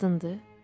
Qadındır?